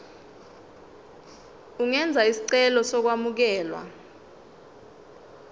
ungenza isicelo sokwamukelwa